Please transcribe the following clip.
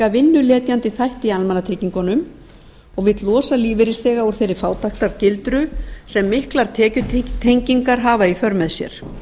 vinnuletjandi þætti í almannatryggingunum og vill losa lífeyrisþega úr þeirri fátæktargildru sem miklar tekjutengingar hafa í för með sér